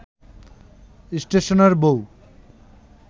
স্টেশনের বউ